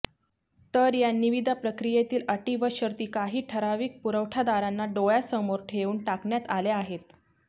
तर या निविदा प्रक्रियेतील अटी व शर्ती काही ठराविक पुरवठादारांना डोळ्यासमोर ठेवून टाकण्यात आल्या आहेत